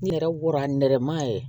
N yɛrɛ wɔrɔn ye